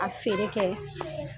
A feere kɛ.